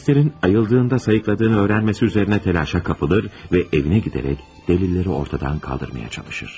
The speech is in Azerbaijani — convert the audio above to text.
Polislərin ayıldığında sayıqladığını öyrənməsi üzərinə təlaşa kapılır və evinə gedərək dəlilləri ortadan qaldırmağa çalışır.